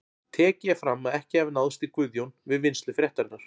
Tekið er fram að ekki hafi náðst í Guðjón við vinnslu fréttarinnar.